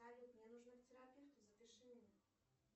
салют мне нужно к терапевту запиши меня